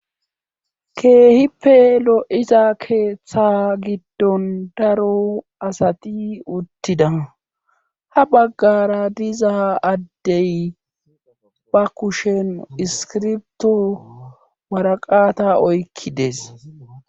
keehippe lo7izaa keeththa giddon daro asati uttida ha baggara diza addey ba kushen iskirbto waraqata oykkides